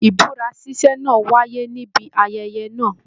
Ibúra ṣiṣe náà wáyé níbi ayẹyẹ náà.